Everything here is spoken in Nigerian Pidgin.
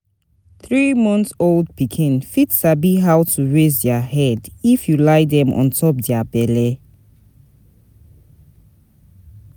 Three months old pikin fit sabi how to raise their head if you lie them on top their belle